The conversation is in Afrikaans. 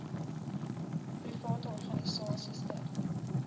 private organisasies ter